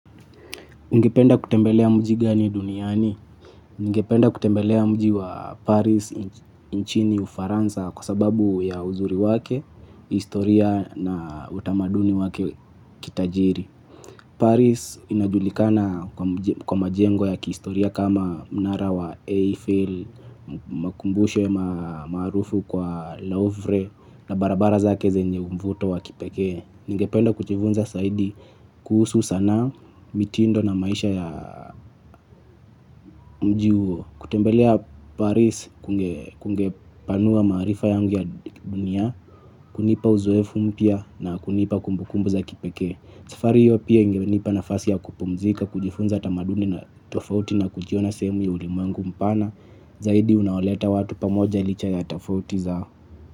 Ningependa kutembelea mji gani duniani? Ningependa kutembelea mji wa Paris nchini ufaransa kwa sababu ya uzuri wake, historia na utamaduni wake kitajiri. Paris inajulikana kwa majengo ya kistoria kama mnara wa Eiffel, makumbusho maarufu kwa leovre na barabara zake zenye mvuto wa kipekee. Ningependa kuchivunza saidi kuhusu sanaa mitindo na maisha ya mji huo kutembelea Paris kungepanua maarifa yangu ya dunia, kunipa uzoefu mpya na kunipa kumbukumbu za kipeke. Tafari hiyo pia ingenipa nafasi ya kupumzika kujifunza tamaduni na tofauti na kujiona sehemu ya ulimwengu mpana zaidi unaoleta watu pamoja licha ya tofauti zao.